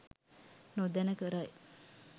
නොදැන කරයි.